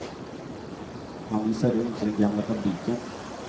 Han visar runt i den gamla fabriken.